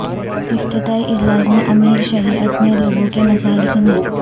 افتتاحی اجلاس میں امیر شریعت نے لوگوں کے مسائل سنے